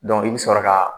i bɛ sɔrɔ ka